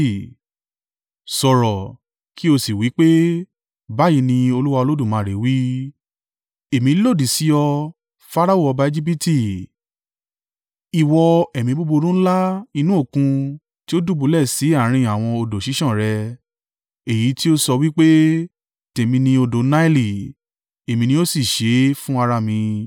Sọ̀rọ̀, kí ó sì wí pé, ‘Báyìí ní Olúwa Olódùmarè wí: “ ‘Èmi lòdì sí ọ, Farao ọba Ejibiti ìwọ ẹ̀mí búburú ńlá inú òkun tí ó dùbúlẹ̀ sí àárín àwọn odò ṣíṣàn rẹ. Èyí tí ó sọ wí pé, “Tèmi ni odò Naili; èmi ni ó sì ṣe é fún ara mi.”